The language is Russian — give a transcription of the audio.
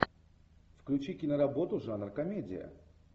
включи киноработу жанр комедия